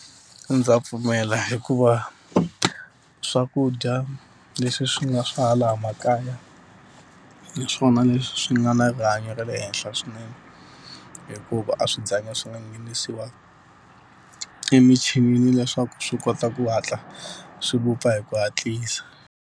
Ndza pfumela hikuva swakudya leswi swi nga swa hala makaya, hi swona leswi swi nga na rihanyo ra le henhla swinene. Hikuva a swi zanga swi nga nghenisiwa emichinini leswaku swi kota ku hatla swi vupfa hi ku hatlisa.